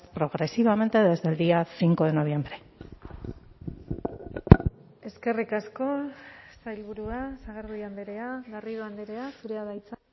progresivamente desde el día cinco de noviembre eskerrik asko sailburua sagardui andrea garrido andrea zurea da hitza